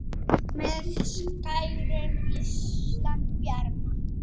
með skærum, lýsandi bjarma